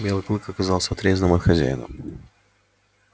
белый клык оказался отрезанным от хозяина